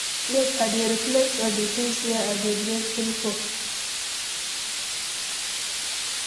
Yes, i dey reflect on di things wey i dey grateful for.